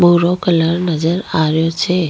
भूरो कलर नजर आ रो छे।